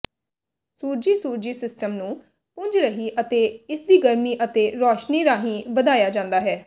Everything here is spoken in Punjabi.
ਸੂਰਜੀ ਸੂਰਜੀ ਸਿਸਟਮ ਨੂੰ ਪੁੰਜ ਰਾਹੀਂ ਅਤੇ ਇਸਦੀ ਗਰਮੀ ਅਤੇ ਰੋਸ਼ਨੀ ਰਾਹੀਂ ਵਧਾਇਆ ਜਾਂਦਾ ਹੈ